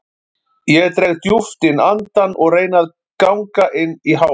Ég dreg djúpt inn andann og reyni að ganga inn í hávaða